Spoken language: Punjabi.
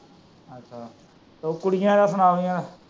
ਓ ਕੁੜੀਆਂ ਆਪਣਾ ਉਂਦੀਆਂ।